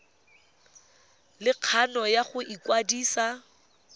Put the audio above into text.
le kgano ya go ikwadisa